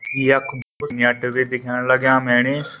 यख न्यट भी दिखेण लग्याँ मैणी।